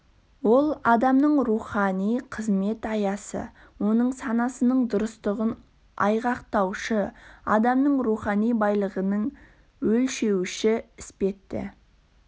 ол адамның рухани қызмет аясы оның санасының дұрыстығын айғақтаушы адамның рухани байлығының өлшеуіші іспетті